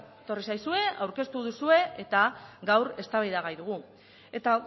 etorri zaizue aurkeztu duzue eta gaur eztabaida gai dugu eta